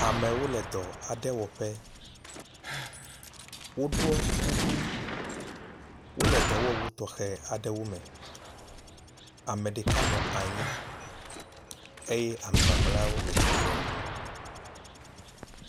Amewo le dɔ aɖe wɔƒe. Woɖɔ kuku, wo le dɔwɔwu tɔxɛ aɖewo me. Ame ɖeka nɔ anyi eye ame mamleawo le tsitrenu.